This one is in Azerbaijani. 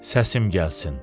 Səsim gəlsin.